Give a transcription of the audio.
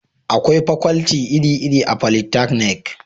akwai fakwalti iri iri a folitaknik